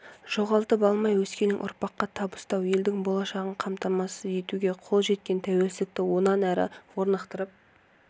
жоғалтып алмай өскелең ұрпаққа табыстау елдің болашағын қамтамасыз етуге қол жеткен тәуелсіздікті онан әрі орнықтырып